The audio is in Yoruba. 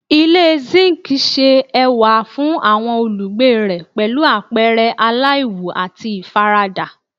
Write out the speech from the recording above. Ile zinc ṣe ẹwa fun awọn olugbe rẹ pẹlu apẹrẹ alaiwu ati ifarada